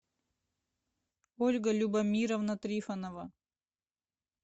ольга любомировна трифонова